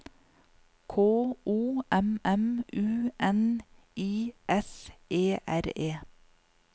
K O M M U N I S E R E